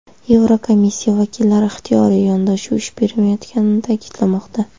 Yevrokomissiya vakillari ixtiyoriy yondashuv ish bermayotganini ta’kidlamoqda.